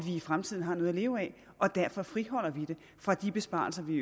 i fremtiden har noget at leve af og derfor friholder vi det fra de besparelser vi